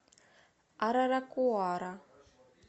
араракуара